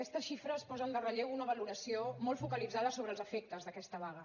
aquestes xifres posen en relleu una valoració molt focalitzada sobre els efectes d’aquesta vaga